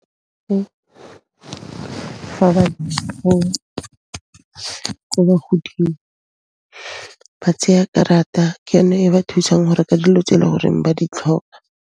Fa ba ba tseya karata, ke yone e ba thusang ho reka dilo tse e le gore ba di tlhoka.